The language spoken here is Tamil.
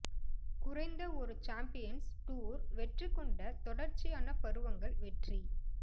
குறைந்த ஒரு சாம்பியன்ஸ் டூர் வெற்றி கொண்ட தொடர்ச்சியான பருவங்கள் வெற்றி